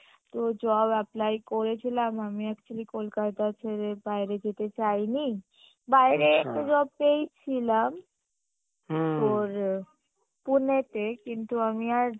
তো job apply করেছিলাম আমি actually কোলকাতা ছেড়ে বাইরে যেতে চাইনি বাইরে একটা job পেয়েছিলাম তোর Pune তে কিন্তু আমি আর